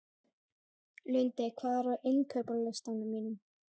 Lundi, hvað er á innkaupalistanum mínum?